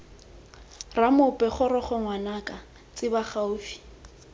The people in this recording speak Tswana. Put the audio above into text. ramoepo goroga ngwanaka tsebe gaufi